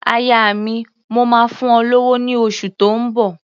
Aya mi, mò máa fún ọ lówó ní oṣù tó ń bọ̀.